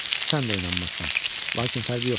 Sən də inanmazsan, lakin fərqi yoxdur.